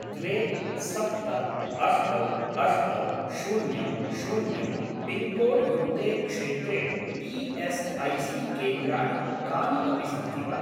द्वे सप्त अष्ट अष्ट शून्यं शून्यं पिन्कोड् युक्ते क्षेत्रे ई.एस्.ऐ.सी.केन्द्राणि कानि अपि सन्ति वा?